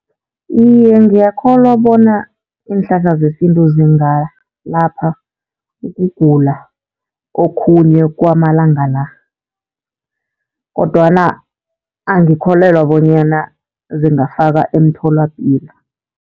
Iye, ngiyakholwa bona iinhlahla zesintu zingalapha ukugula okhunye kwamalanga la, kodwana angikholelwa bonyana zingafakwa emtholapilo.